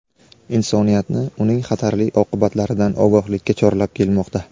insoniyatni uning xatarli oqibatlaridan ogohlikka chorlab kelmoqda.